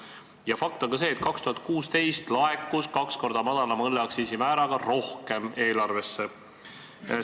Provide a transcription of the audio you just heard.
Ja fakt on ka see, et 2016. aastal laekus kaks korda madalama õlleaktsiisi määra kehtides eelarvesse rohkem raha.